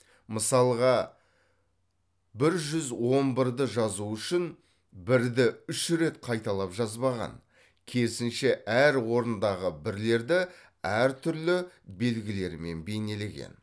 мысалға бір жүз он бірді жазу үшін бірді үш рет қайталап жазбаған керісінше әр орындағы бірлерді әр түрлі белгілермен бейнелеген